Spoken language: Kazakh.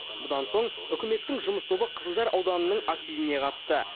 бұдан соң үкіметтің жұмыс тобы қызылжар ауданының активіне қатысты